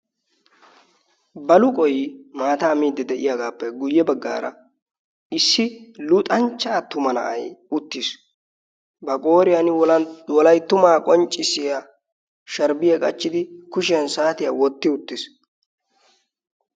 baluqoy maataa miidi de'iyaagappe guyye baggaara issi luxanchchaa tuma na'ay uttiis ba qooriyan wolayttumaa qonccissiya sharibiyaa qachchidi kushiyan saatiyaa wotti uttiis